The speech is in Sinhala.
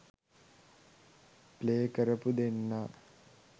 ප්ලේ කරපු දෙන්නා.